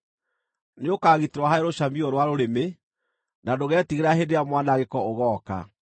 Nĩũkagitĩrwo harĩ rũcamiũ rwa rũrĩmĩ, na ndũgetigĩra hĩndĩ ĩrĩa mwanangĩko ũgooka.